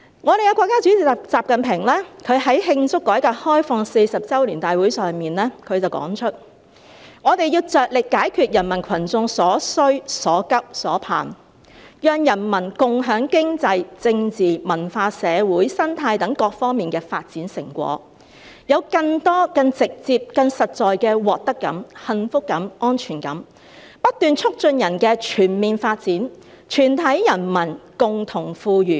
我們的國家主席習近平在慶祝改革開放40周年大會上說："我們要着力解決人民群眾所需所急所盼，讓人民共享經濟、政治、文化、社會、生態等各方面發展成果，有更多、更直接、更實在的獲得感、幸福感、安全感，不斷促進人的全面發展、全體人民共同富裕。